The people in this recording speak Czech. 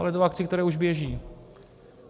Ale do akcí, které už běží.